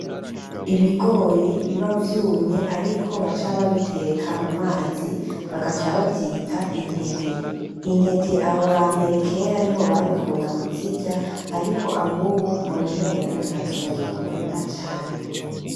Ibigori biba vyumye ariko baca babiteka mu mazi bagaca bavyita intete. Intete abo bambere kera niho babikunda kuzirya ariko abubu mbona umengo ntazo bagikunda cane.